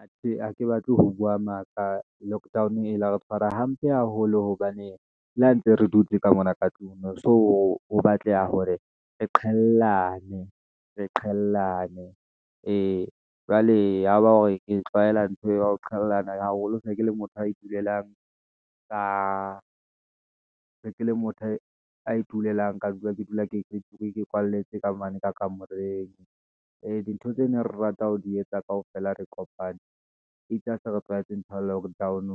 Atjhe ha ke batle ho bua maka, lockdown e la re tshwara hampe haholo, hobane le ha ntse re dutse ka mona ka tlung, ho so ho batleha hore re qwelane, ee, jwale yaba hore e tlwaela ntho ya ho qhalana haholo, se ke le motho a itulelang ka dula ke dula ke se ke dula ke kwalletswe ka mane ka kamoreng, ee di ntho tse ne re rata ho di etsa kaofela re kopane, etse ha se re tlwaetseng lockdown,